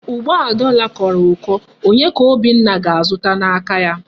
Ugbu a dọla kọrọ ụkọ, onye ka Obinna ga-azụta n'aka ya?